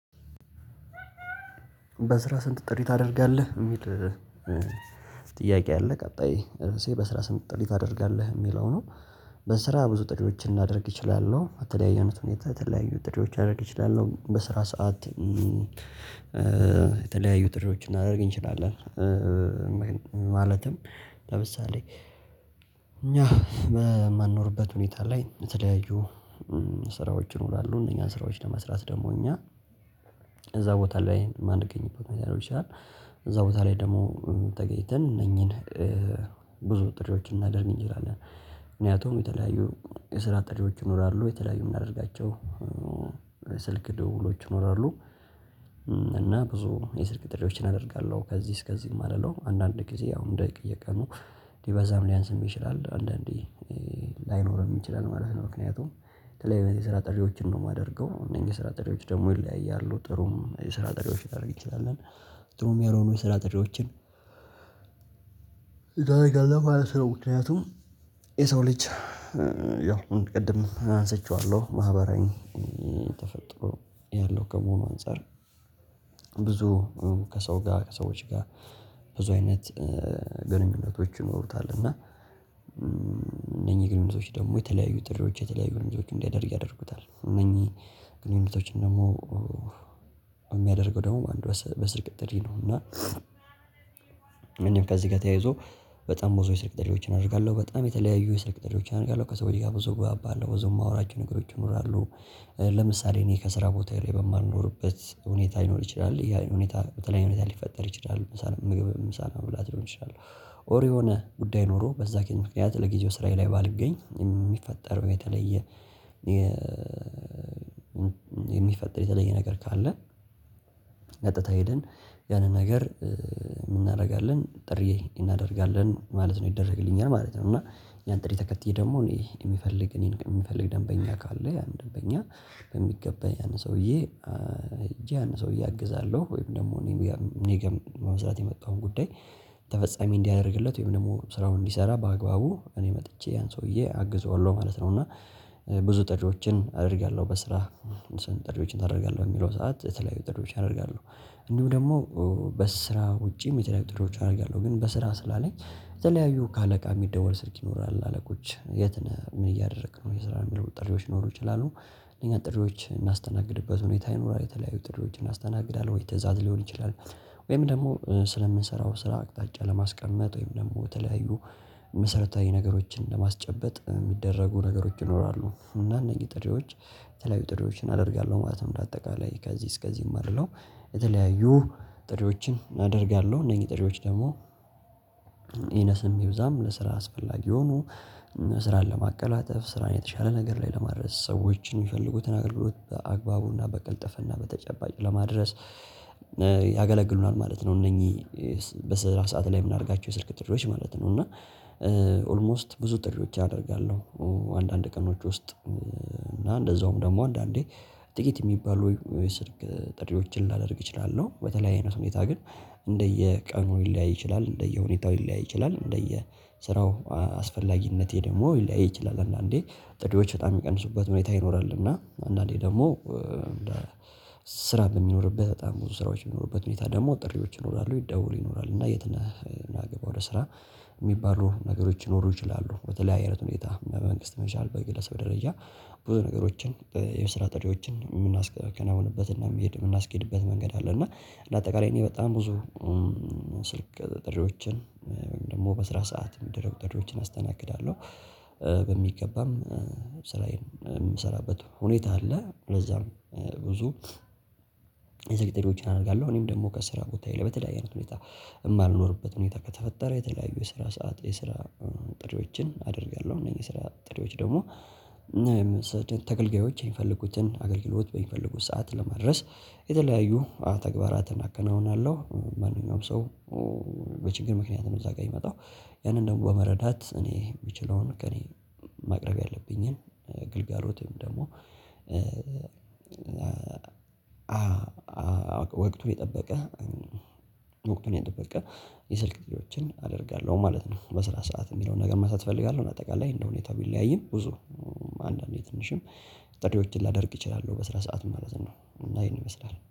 በስራ ስንት ጥሪ ታደርጋለህ የሚል ጥያቄ አለ ቀጣይ እርእሴ በስራ ስንት ጥሪ ታደርጋለህ የሚለው ነው? በስራ ብዙ ጥሪወችን እናደርግ እችላለሁ በተለያየ አይነት ሁኔታ የተለያዩ ጥሬዎች አደርግ እችላሉ በስራ ሰዓት የተለያዩ ጥሪዎች እናደርግ እንችላለን። ማለትም ለምሳሌ እኛ በማንኖርበት ሁኔታ ላይ የተለያዩ ስራዎች ይኖራሉ እነኛን ስራዎች ለመስራት ደግሞ እኛ እዛ ቦታ ላይ ማንገኝበት ሊሆን ይችላል። እዛ ቦታ ላይ ደግሞ ተገኝተን እነኚህን ብዙ ጥሪዎችን እናደርግ እንችላለን። ምክንያቱም የተለያዩ የስራ ጥሪዎች ይኖራሉ የተለያዩ የሚያደርጋቸው ስልክ ድውሎች ይኖራሉ። እና ብዙ የስልክ ጥሪዎችን አደርጋለሁ ከዚህ እስከዚህም የማልለው አንዳንድ ጊዜ ያውም እንደየ ቀኑ ሊበዛም ሊያንስም ይችላል አንዳንዴ ላይኖር ይችላል ማለት ነው። ምክንያቱም በተለይ የሰራ ጥሪዎችን ነው የማደርገው እነዚህ የሰራ ጠሪዎች ደግሞ ይለያያሉ ጥሩም የሰራ ጥሪዎች ላደርግ እንችላል። ጥሩም የሚሆነው የስራ ጥሪዎችን ይዳረጋለሁ ማለት ነው። ምክንያቱም የሰው ልጅ ያው ቅድም አንስቼዋለሁ ማህበራዊ ተፈጥሮ ያለው ከመሆኑ አንፃር። ብዙ ከሰው ጋር ከሰዎች ጋር ብዙ አይነት ግንኙነቶች ይኖሩታል። እና እነኝህ ግንኙነቶች ደግሞ የተለያዩ ጥሪዎች የተለያዩ ግንኙነቶች እንዲያደርግ ያደርጉታል እነኚህ ግንኙነቶችን ደግሞ እሚያደርገው ደግሞ አንድ በስልክ ጥሪ ነው። እና እኔም ከዚህ ጋር ተያይዞ በጣም ብዙ ስልክ ጥሪዎችን አድርጋለሁ በጣም የተለያዩ የስልክ ጥሪዎችን አድርጋለሁ ከሰዎች ጋር ብዙ ግባባ አለው ብዙ የማወራቸው ነገሮች ይኖራሉ። ለምሳሌ እኔ ከስራ ቦታ ላይ በማልኖርበት ሁኔታ ይኖር ይችላል ያ ሁኔታ በተለይ ሁኔታ ሊፈጠር ይችላል ምግብ ምሳ መብላት ሊሆን ይችላል። ኦር የሆነ ጉዳይ ኖሮ በዛ ምክንያት ለጊዜው ስራዬ ላይ ባልገኝ የሚፈጠረው የተለየ እሚፈጠር የተለየ ነገር ካለ። ቀጥታ ሄደን ያንን ነገር ምን እናርጋለን ጥሪ እናደርጋለን ማለት ነው። ይደረግልኛል ማለት ነው። እና ያን ጥሪ ተከትዬ ደግሞ እኔ እሚፈልግ እኔን እሚፈልግ ደንበኛ ካለ ያን ደንበኛ በሚገባ ያን ሰውዬ ያን ሰውዬ አግዛለሁ ወይም ደግሞ እኔ ጋር በብዛት የመጣውን ጉዳይ ተፈጻሚ እንዲያደርግለት ወይም ደግሞ ስራውን እንዲሰራ በአግባቡ እኔ መጥቼ ያን ሰውዬ አግዘዋለሁ ማለት ነው። እና ብዙ ጥሪዎችን አደርጋለሁ። በስራ ስንት ጥሪዎችን ታደርጋለህ የሚለው ሰዓት የተለያዩ ጥሪው አደርጋለሁ። እንዲሁ ደግሞ በስራ ውጪ ሚደረግ ጥሪዎች አድርጋለሁ ግን በስራ ስላለኝ የተለያዩ ከአለቃ የሚደወል ስልክ ይኖራል አለቆች የት ነህ ምን እያደረክ ነው የስራ የሚል ጥሪዎች ሊኖሩ ይችላሉ። እኛ ጥሪዎች እምናስተናግድበት ሁኔታ ይኑራል የተለያዩ ጥሪዎችን አስተናግዳለሁ ወይ ትእዛዝ ሊሆን ይችላል። ወይም ደግሞ ስለምንሰራው ስራ አቅጣጫ ለማስቀመጥ ወይም ደግሞ በተለያዩ መሰረታዊ ነገሮችን ለማስጨበጥ እሚደረጉ ነገሮች ይኖራሉ። እና እነዚህ ጥሪዎች የተለያዩ ጥሬዎችን አደርጋለሁ ማለትም እንደ አጠቃላይ ከዚህ እስከዚህ እማልለው የተለያዩ ጥሪዎችን አደርጋለሁ። እነኚህ ጥሪዎች ደግሞ ይነስም ይብዛም ለስራ አስፈላጊ ሆኖ ስራን ለማቀላጠፍ ስራን የተሻለ ነገር ላይ ለማድረስ ሰዎችን እሚፈልጉትን አገልግሎት በአግባቡና በቅልጠፍና በተጨባጭ ለማድረስ ያገለግሉናል ማለት ነው። እነኚህ በስራ ሰዓት ላይ የምናደርጋቸው የስልክ ጥርጆች ማለት ነው። እና ኦልሞስት ብዙ ጥሪዎች ያደርጋለሁ አንዳንድ ቀኖች ውስጥ እና እንደዛውም ደግሞ አንዳንዴ ጥቂት እሚባሉ የስልክ ጥሪዎችን ላደርግ እችላለሁ። በተለይ አይነት ሁኔታ ግን እንደየቀኑ ሊለያይ ይችላል። እንደየሁኔታው ሊለያይ ይችላል እንደየስራው አስፈላጊነቱ ደግሞ ሊለያይ ይችላል። አንዳንዴ ጥሪዎች በጣም እሚቀንሱበት ሁኔታ ይኖራል። እና አንዳንዴ ደግሞ ስራ በሚኖርበት በጣም ብዙ ስራዎች የሚኖሩበት ሁኔታ ደግሞ ጥሪዎች ይኖራሉ ይደውሉ ይኖራል እና የት ነህ ና ግባ ወደ ስራ የሚባሉ ነገሮች ይኖሩ ይችላሉ። በተለያየ አይነት ሁኔታ መንግስት ሊሆን ይችላል። በግለሰብ ደረጃ ብዙ ነገሮችን የስራ ጥሪዎችን እምናከናውንበትና እምናስኬድበት መንገድ አለ። እና እንደ አጠቃላይ እኔ በጣም ብዙ ስልክ ጥሪዎችን ደግሞ በስራ ሰዓት እሚደረጉ ጥሪዎችን አስተናግዳለሁ። በሚገባም ስራዬን እምሰራበት ሁኔታ አለ። ለዛም ብዙ የስልክ ጥሪዎችን አደርጋለሁ። እኔም ደግሞ ከስራ ቦታ ላይ በተለያየ አይነት ሁኔታ የማልኖርበት ሁኔታ ከተፈጠረ የተለያዩ ስራ ሰዓት የስራ ጥሪዎችን አደርጋለሁ። እነኝህ የስራ ጥሪዎች ደግሞ ተገልጋዮች የሚፈልጉትን አገልግሎት በሚፈልጉት ሰዓት ለመድረስ የተለያዩ ተግባራት እናከናውናለሁ። ማንኛውም ሰው በችግር ምክንያት ነው እዛ ጋር የሚመጣው። ያንን ደግሞ በመረዳት እኔ እምችለውን ከእኔ ማቅረብ ያለብኝን ግልጋሎትም ደግሞ አዎ ወቅቱን የጠበቀ ወቅቱን የጠበቀ የስልክ ጥሪዎችን አደርጋለሁ ማለት ነው። በስራ ሰዓት የሚለውን ነገር መስራት እፈልጋለሁ። አጠቃላይ እንደሁኔታው ቢለያይም ብዙ አንዳንዴ ትንሽም ጥሪዎችን ላደርግ እችላለሁ በስራ ሰዓት ማለት ነው። እና ይሄን ይመስላል